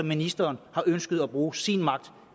ministeren har ønsket at bruge sin magt